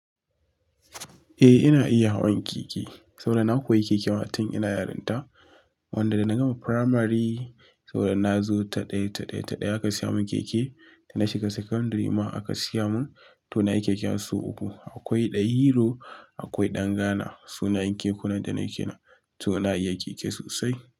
Eh, ina iya hawan keke, saboda na koyi keke tun ina yarinta. Wanda da na gama primary, saboda nazo ta ɗaya, ta ɗaya, ta ɗaya aka siya mun keke. Da na shiga secondary ma aka siya mun, toh nayi keke har sau uku. Akwai dahero, akwai ɗan Ghana, sunayen kekunan da na yi kenan. Toh na iya keke sosai.